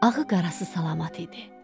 Ağı qarası salamat idi.